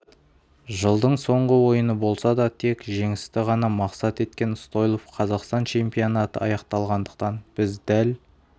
жылдың соңғы ойыны болса да тек жеңісті ғана мақсат еткен стойлов қазақстан чемпионаты аяқталғандықтан біз дәл